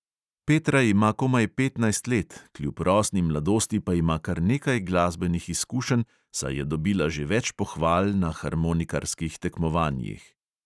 Petra ima komaj petnajst let, kljub rosni mladosti pa ima kar nekaj glasbenih izkušenj, saj je dobila že več pohval na harmonikarskih tekmovanjih.